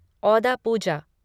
औदा पूजा